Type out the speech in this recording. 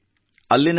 ಅಲ್ಲಿ ನನಗೆ ಡಾ